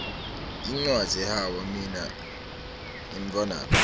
incwadzi hhawa mine ngemntfwanami